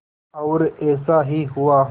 और ऐसा ही हुआ